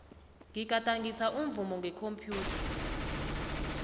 ngigadangisa umvumo ngekhomphyutha